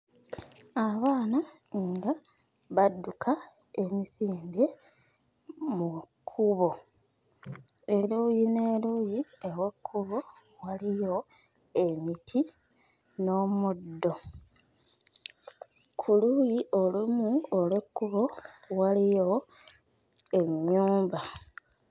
Abaana nga badduka emisinde mu kkubo, eruuyi n'eruuyi ew'ekkubo waliyo emiti n'omuddo. Ku luuyi olumu olw'ekkubo waliyo ennyumba.